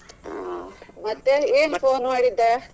ಅಹ್ ಮತ್ತೆ ಏನ್ phone ಮಾಡಿದ್ದ?